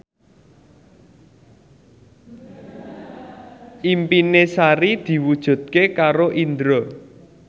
impine Sari diwujudke karo Indro